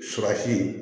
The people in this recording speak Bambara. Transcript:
Surasi